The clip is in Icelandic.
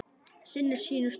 Sinnir sínu starfi.